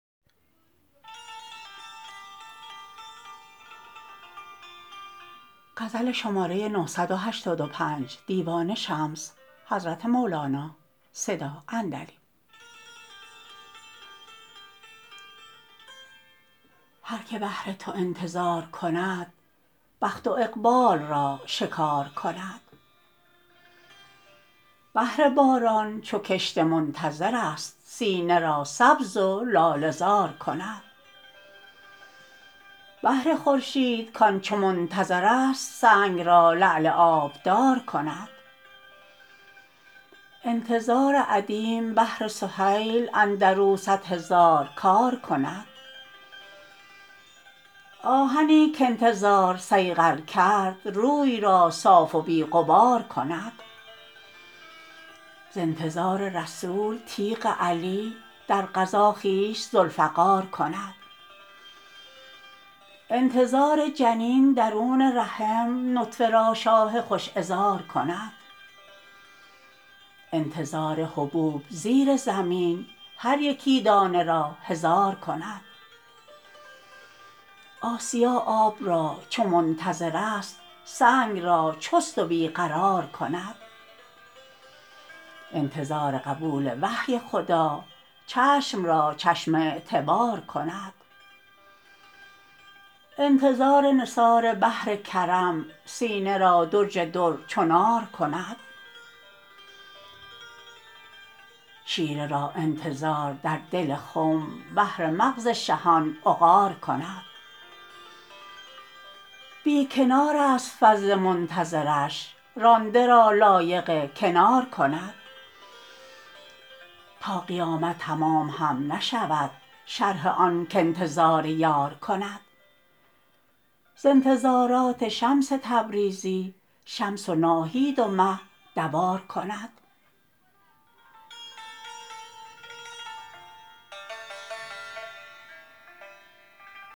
هر که بهر تو انتظار کند بخت و اقبال را شکار کند بهر باران چو کشت منتظر است سینه را سبز و لاله زار کند بهر خورشید کان چو منتظر است سنگ را لعل آبدار کند انتظار ادیم بهر سهیل اندر او صد هزار کار کند آهنی که انتظار صیقل کرد روی را صاف و بی غبار کند ز انتظار رسول تیغ علی در غزا خویش ذوالفقار کند انتظار جنین درون رحم نطفه را شاه خوش عذار کند انتظار حبوب زیر زمین هر یکی دانه را هزار کند آسیا آب را چو منتظر است سنگ را چست و بی قرار کند انتظار قبول وحی خدا چشم را چشم اعتبار کند انتظار نثار بحر کرم سینه را درج در چو نار کند شیره را انتظار در دل خم بهر مغز شهان عقار کند بی کنار ست فضل منتظر ش رانده را لایق کنار کند تا قیامت تمام هم نشود شرح آن که انتظار یار کند ز انتظارات شمس تبریزی شمس و ناهید و مه دوار کند